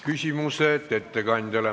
Küsimused ettekandjale.